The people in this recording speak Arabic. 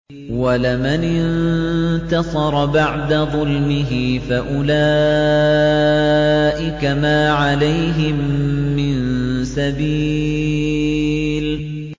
وَلَمَنِ انتَصَرَ بَعْدَ ظُلْمِهِ فَأُولَٰئِكَ مَا عَلَيْهِم مِّن سَبِيلٍ